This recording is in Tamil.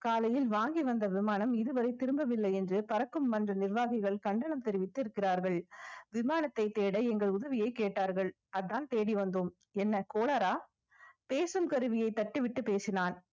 காலையில் வாங்கி வந்த விமானம் இதுவரை திரும்பவில்லை என்று பறக்கும் மன்ற நிர்வாகிகள் கண்டனம் தெரிவித்திருக்கிறார்கள் விமானத்தை தேட எங்கள் உதவியை கேட்டார்கள் அதான் தேடி வந்தோம் என்ன கோளாறா பேசும் கருவியை தட்டிவிட்டு பேசினான்